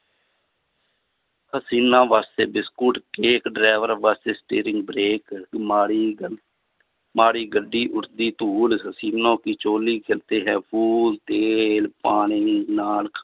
ਹਸੀਨਾ ਵਾਸਤੇ biscuit cake, ਡਰਾਈਵਰਾਂ ਵਾਸਤੇ steering, brake ਮਾੜੀ ਗੱਡੀ ਉੱਠਦੀ ਧੂੜ, ਹਸੀਨੋ ਕੀ ਚੋਲੀ ਤੇਲ, ਪਾਣੀ ਨਾਲ